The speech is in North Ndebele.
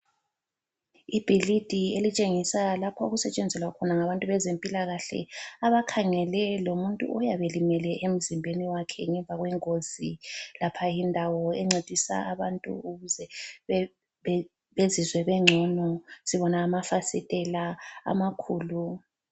Ibhilidi elitshengisa lapho okusetshenzelwa khona ngabantu bezempilakahle abakhangele lomuntu oyabe elimele emzimbeni wakhe ngemva kwengozi, lapha yindawo encedisa abantu ukuze bezizwe bengcono sibona ngamafasitela amakhulu.